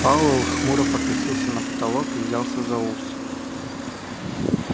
пауэлл хмуро покосился на потолок и взялся за ус